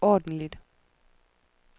ordentligt